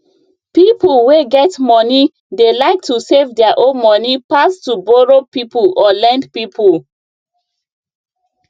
people wey get money dey like to save their own money pass to borrow people or lend people